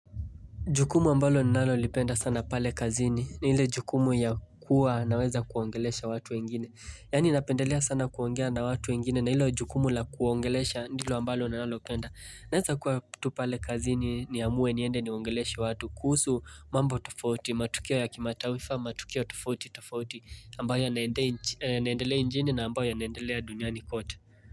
Jukumu ambalo ninalo lipenda sana pale kazini, ni ile jukumu ya kuwa naweza kuongelesha watu wengine. Yani napendelea sana kuongea na watu wengine, na hilo jukumu la kuwaongelesha ndilo ambalo ninalo penda. Naweza kuwa tu pale kazini ni amue niende niongeleesha watu. Kuhusu mambo tofauti, matukio ya kimatawifa matukio tofauti tofauti, ambayo ya naendelea njini na ambayo ya naendelea duniani kote.